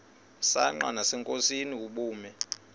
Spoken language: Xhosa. msanqa nasenkosini ubume